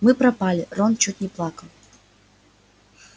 мы пропали рон чуть не плакал